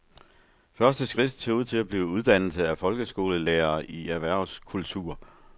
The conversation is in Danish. Første skridt ser ud til at blive uddannelse af folkeskolelærere i erhvervskultur.